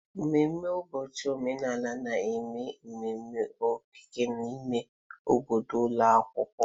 Ememme ụbọchị omenala na-eme ememe okike n'ime obodo ụlọ akwụkwọ.